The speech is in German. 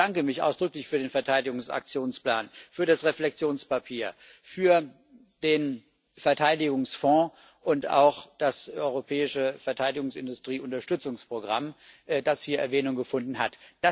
Ich bedanke mich ausdrücklich für den Verteidigungsaktionsplan, für das Reflektionspapier, für den Verteidigungsfonds und auch das europäische Verteidigungsindustrie Unterstützungsprogramm, das hier Erwähnung gefunden hat.